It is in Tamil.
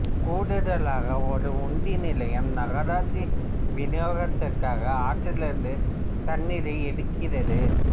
கூடுதலாக ஒரு உந்தி நிலையம் நகராட்சி விநியோகத்திற்காக ஆற்றில் இருந்து தண்ணீரை எடுக்கிறது